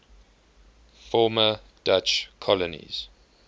former dutch colonies